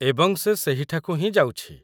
ଏବଂ ସେ ସେହିଠାକୁ ହିଁ ଯାଉଛି।